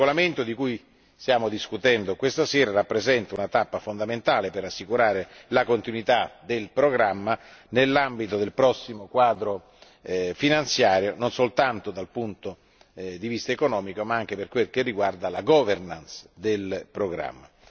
Il regolamento di cui stiamo discutendo questa sera rappresenta una tappa fondamentale per assicurare la continuità del programma nell'ambito del prossimo quadro finanziario, non soltanto dal punto di vista economico ma anche per quel che riguarda la governance del programma.